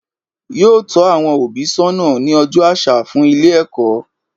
Yóò tó àwon òbí sónà ní ojó asa fún Ilé èkó